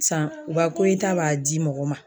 San, u ka koyita b'a di mɔgɔ ma.